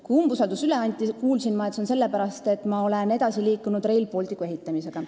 Kui umbusaldusavaldus üle anti, kuulsin ma, et seda tehti sellepärast, et ma olen edasi liikunud Rail Balticu ehitamisega.